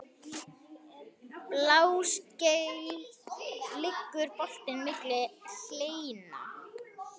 Bláskel liggur brotin milli hleina.